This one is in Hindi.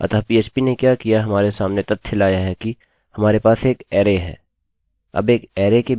अतःphp ने क्या किया हमारे सामने तथ्य लाया कि हमारे पास एक अरैarray है